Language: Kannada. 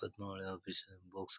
Padmavali office box .